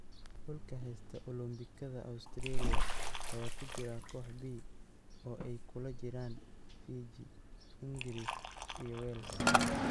Xulka heysta Olombikada Australia ayaa ku jira koox B oo ay kula jiraan Fiji, ingris iyo Wales.